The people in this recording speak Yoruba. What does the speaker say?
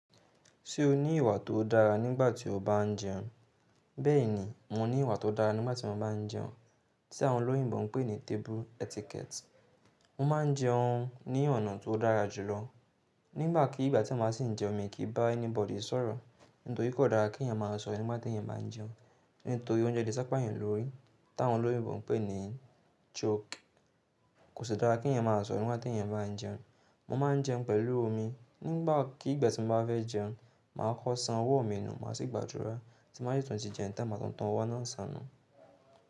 Ṣé o ní ìwà tó dára nígbà tí o bá ń jẹun? Bẹ́ẹ̀ni, mo ní ìwà tó dára nígbà tí mo bá ń jẹun tí àwọn olóyìnbo ń pè ní table etiquette. Mo máa ń jẹun ní ọ̀nà tó dára jùlọ. Nígbà kí ìgbà tí a máa sì ń jẹun mi kì í bá anybody sọ̀rọ̀, nítorí kò dára kí èèyàn máa sọ̀rọ̀ nígbà tí èèyàn bá ń jẹun, nítorí oúnjẹ le sápayàn lórí, táwọn olóyìnbo ń pè ní choke. Kò sì dára kí èèyàn máa sọ̀rọ̀ nígbà tí èèyàn bá ń jẹun. Mo máa ń jẹun pẹ̀lú omi. Nígbà kí ìgbà tí mo bá fẹ́ jẹun, màá kọ́ san ọwọ́ mi nu, màá sí gbàdurá, tí n ba sí tun ti jẹun tan maa tun tun ọwọ́ náà san nú.